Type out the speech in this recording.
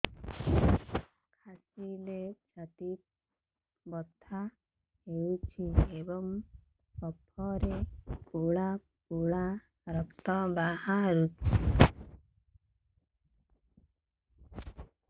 କାଶିଲେ ଛାତି ବଥା ହେଉଛି ଏବଂ କଫରେ ପଳା ପଳା ରକ୍ତ ବାହାରୁଚି